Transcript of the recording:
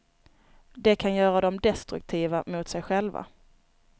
Det kan göra dem destruktiva mot sig själva.